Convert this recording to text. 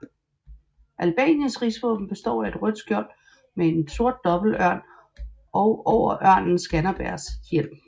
Albaniens rigsvåben består af et rødt skjold med en sort dobbeltørn og over ørnen Skanderbegs hjelm